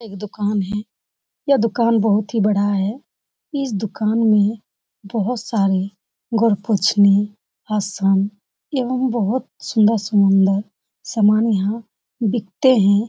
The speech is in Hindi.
एक दुकान है। यह दुकान बोहोत ही बड़ा है। इस दुकान में बोहोत सारे गोडपोछ्नी असम एवं बोहोत सुंदर-सुंदर सामान यहाँ बिकते हैं।